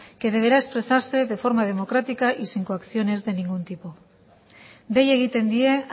que deberá expresarse de forma democrática y sin coacciones de ningún tipo dei egiten die